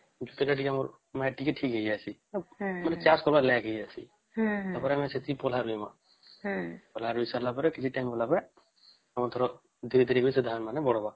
ମାନେ ଚାଷ କରିବାର ଲାଗି ଇଏ ଅସି ତାପରେ ଆମେ ସେଠିକି ପାଲାଇମା ହୁଁ ଦେଇ ସରିଲା ପରେ କିଛି time ପରେ ଆଉଏଥର ଧୀରେ ଧୀରେ କି